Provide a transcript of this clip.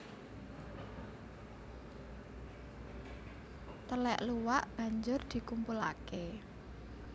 Telèk luwak banjur dikumpulake